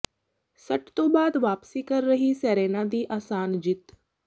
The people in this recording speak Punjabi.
ਸੱਟ ਤੋਂ ਬਾਅਦ ਵਾਪਸੀ ਕਰ ਰਹੀ ਸੇਰੇਨਾ ਦੀ ਆਸਾਨ ਜਿੱਤ